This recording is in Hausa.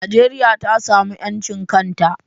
Najeriya ta samu 'yancin kanta.